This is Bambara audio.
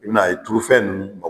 I bɛn'a ye turufɛn ninnu bɔ